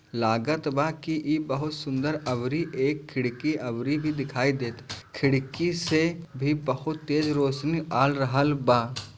लागत बा की इ बहुत सुंदर अबरी एक खिड़की अबरी के दिखाई देत खिड़की से भी बहुत तेज रोशनी आ रहल बा।